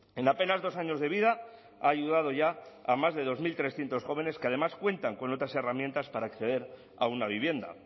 en apenas dos años de vida ha ayudado ya a más de dos mil trescientos jóvenes que además cuentan con otras herramientas para acceder a una vivienda